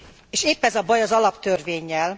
És épp ez a baj az alaptörvénnyel.